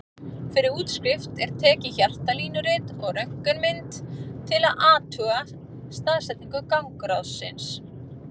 Fyrir útskrift er tekið hjartalínurit og röntgenmynd til að athuga staðsetningu gangráðsins.